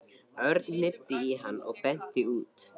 Örn hnippti í hann og benti út.